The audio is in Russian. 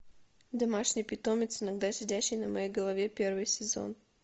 домашний питомец иногда сидящий на моей голове первый сезон